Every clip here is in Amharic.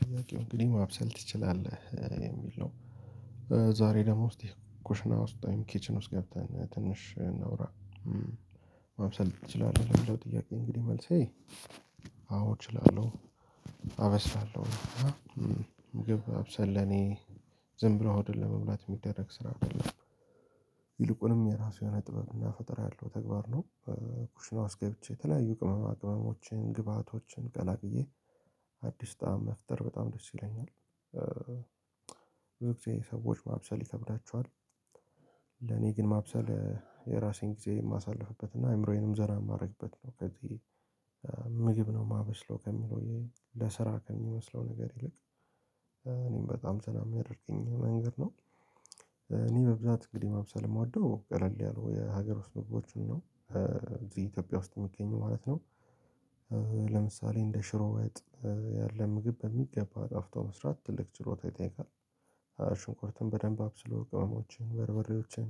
ጥያቄው እንግዲህ ማብሰል ትችላለህ የሚል ነው። ዛሬ ደሞ እስቲ ኩሽና ውስጥ ወይም ኪችን ውስጥ ገብተን ትንሽ እናውራ። ማብሰል ትችላለህ ለሚለው ጥያቄ እንግዲህ መልሴ አዎ እችላለሁ አበስላለሁ እና ምግብ ማብሰል ለኔ ዝም ብሎ ሆድን ለመሙላት ሚደረግ ስራ አይደለም። ይልቁንም የራሱ የሆነ ጥበብ እና ፈጠራ ያለው ተግባር ነው ኩሽና ውስጥ ገብቼ የተለያዩ ቅመማ ቅመሞችን ግብአቶችን ቀላቅዬ አዲስ ጣዕም መፍጠር በጣም ደስ ይለኛል ብዙ ጊዜ ሰዎች ማብሰል ይከብዳቸዋል ለኔ ግን ማብሰል የራሴን ጊዜ የማሳልፍበት እና አይምሮዬንም ዘና ማረግበት ነው ከዚህ ምግብ ነው ማበስለው ከሚለው ይሄ ለስራ ከሚመስለው ነገር ይልቅ እኔም በጣም ዘና ሚያደርገኝ መንገድ ነው እኔ በብዛት እንግዲህ ማብሰል እምወደው ቀለል ያለው የሀገር ውስጥ ምግቦችን ነው እዚህ ኢትዮጵያ ውስጥ ሚገኙ ማለት ነው ለምሳሌ እንደ ሽሮ ወጥ ያለ ምግብ በሚገባ አጣፍጦ መስራት ትልቅ ችሎታ ይጠይቃል። ሽንኩርቱን በደንብ አብስሎ ቅመሞችን በርበሬዎችን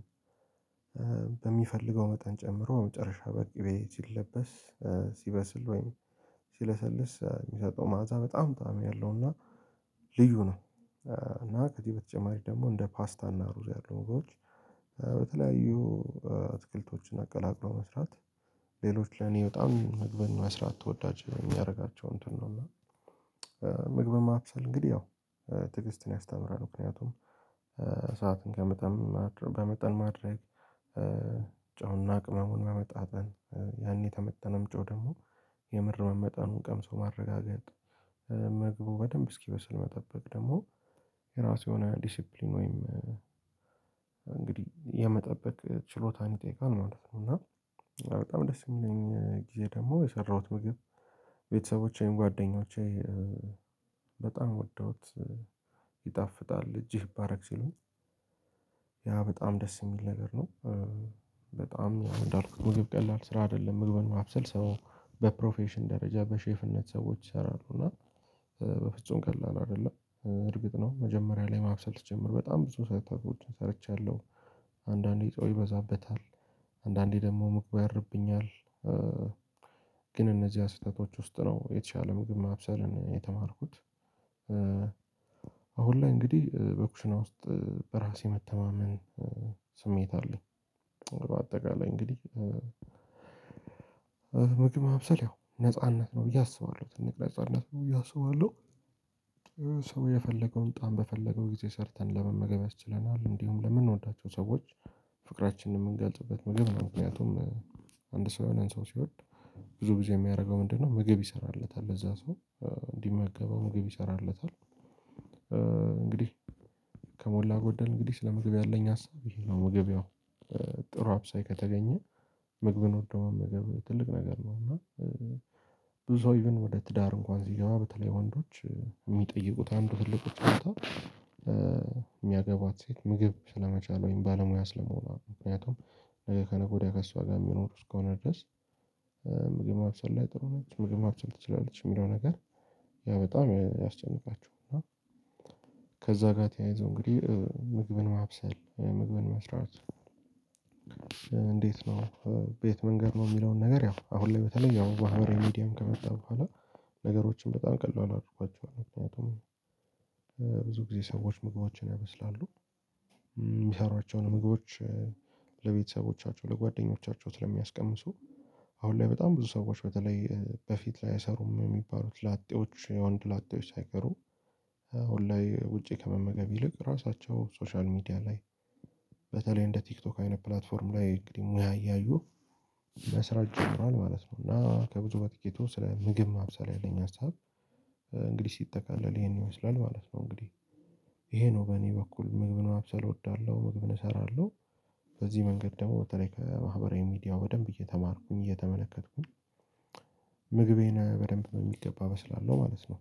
በሚፈልገው መጠን ጨምሮ መጨረሻ በቂቤ ሲለበስ ሲበስል ወይም ሲለሰልስ ሚሰጠው መዓዛ በጣም ጣዕም ያለው እና ልዩ ነው እና ከዚህ በተጨማሪ ደግሞ እንደ ፓስታ እና ሩዝ ያሉ ምግቦች በተለያዩ እትክልቶችን አቀላቅሎ መስራት ሌሎች ለኔ በጣም ምግብን መስራት ተወዳጅ የሚያረጋቸው እንትን ነው እና ምግብን ማብሰል እንግዲህ ያው ትዕግስትን ያስተምራል ምክንያቱም ሰዓትን ከመጠን ማድረ በመጠን ማድረግ ጨው እና ቅመሙን መመጣጠን ያኔ የተመጠነም ጨው ደግሞ የምር መመጠኑ ቀምሶ ማረጋገጥ ምግቡ በደንብ እስኪበስል መጠበቅ ደግሞ የራሱ የሆነ ዲሲፕሊን ወይም እንግዲህ የመጠበቅ ችሎታን ይጠይቃል ማለት ነው እና በጣም ደስ እሚለኝ ጊዜ ደግሞ የሰራሁት ምግብ ቤተሰቦቼን ጓደኞቼ በጣም ወደውት ይጣፍጣል እጅህ ይባረክ ሲሉኝ ያ በጣም ደስ ሚል ነገር ነው። በጣም እንዳልኩት ምግብ ቀላል ስራ አይደለም ምግብን ማብሰል ሰው በፕሮፌሽን ደረጃ በሼፍነት ሰዎች ይሰራሉ እና በፍጹም ቀላል አይደለም እርግጥ ነው መጀመሪያ ላይ ማብሰል ስጀምር በጣም ብዙ ስህተቶች ሰርቻለሁ አንዳንዴ ጨው ይበዛበታል አንዳንዴ ደግሞ ምግቡ ያርብኛል ግን እነዚያ ስህተቶች ውስጥ ነው የተሻለ ምግብ ማብሰልን የተማርኩት አሁን ላይ እንግዲህ በኩሽና ውስጥ በራሴ መተማመን ስሜት አለኝ በአጠቃላይ እንግዲህ ምግብ ማብሰል ያው ነጻነት ነው ብዬ አስባለሁ ትልቅ ነጻነት ነው ብዬ አስባለሁ ሰው የፈለገውን ጣዕም በፈለገው ጊዜ ሰርተን ለመመገብ ያስችለናል እንዲሁም ለምንወዳቸው ሰዎች ፍቅራችንን እምንገልጽበት ምግብ ነው ምክንያቱም አንድ ሰው የሆነን ሰው ሲወድ ብዙ ጊዜ የሚያረገው ምንድነው ምግብ ይሰራለታል ለዛ ሰው እንዲመገበው ምግብ ይሰራለታል እንግዲህ ከሞላ ጎደል እንግዲህ ስለ ምግብ ያለኝ ሀሳብ ይሄ ነው ምግብ ያው ጥሩ አብሳይ ከተገኘ ምግብን ወዶ መመገብ ትልቅ ነገር ነው እና ብዙ ሰው ኢቭን ወደ ትዳር እንኳን ሲገባ በተለይ ወንዶች ሚጠይቁት አንዱ ትልቁ ችሎታ ሚያገቧት ሴት ምግብ ስለመቻል ወይም ባለሙያ ስለመሆኗ ምክንያቱም ከነገ ወዲያ ከእሷ ጋር ሚኖር እስከሆነ ድረስ ምግብ ማብሰል ላይ ጥሩ ነች ምግብ ማብሰል ትችላለች የሚለው ነገር ያ በጣም ያስጨንቃቸው እና ከዛ ጋር ተያይዞ እንግዲህ ምግብን ማብሰል ምግብን መስራት እንዴት ነው በየት መንገድ ነው ሚለውን ነገር ያው አሁን ላይ በተለይ ያው ባህበራዊ ሚዲያም ከመጣ በኋላ ነገሮችን በጣም ቀላል አድርጓቸዋል ምክንያቱም ብዙ ጊዜ ሰዎች ምግቦችን ያበስላሉ ሚሰሯቸውን ምግቦች ለቤተሰቦቻቸው ለጓደኞቻቸው ስለሚያስቀምሱ አሁን ላይ በጣም ብዙ ሰዎች በተለይ በፊት ላይ አይሰሩም የሚባሉት ላጤዎች የወንድ ላጤዎች ሳይቀሩ ኦንላይ ውጪ ከመመገብ ይልቅ ራሳቸው ሶሻል ሚዲያ ላይ በተለይ እንደ ቲክቶክ አይነት ፕላትፎርም ላይ እንግዲህ ሙያ እያዩ መስራት ጀምረዋል ማለት ነው እና ከብዙ በጥቂቱ ስለ ምግብ ማብሰል ያለኝ ሀሳብ እንግዲህ ሲጠቃለል ይሄን ይመስላል ማለት ነው እንግዲህ ይሄ ነው በእኔ በኩል ምግብን ማብሰል እወዳለሁ ምግብን እሰራለሁ በዚህ መንገድ ደግሞ በተለይ ከማህበራዊ ሚዲያው በደንብ እየተማርኩኝ እየተመለከትኩኝ ምግቤን በደንብ በሚገባ አበስላለው ማለት ነው።